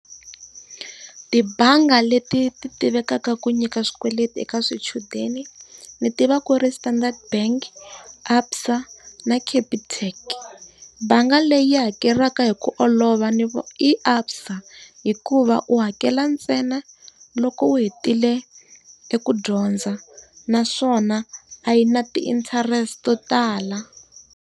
Tibangi leti ti tivekaka ku nyika swikweleti eka swichudeni, ndzi tiva ku ri Standard Bank Absa na Capitec. Bangi leyi hakelaka hi ku olova ni i Absa hikuva u hakela ntsena loko u hetile eku dyondza naswona a yi na ti-interest to tala.